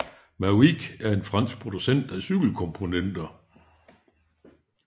Mavic er en fransk producent af cykelkomponenter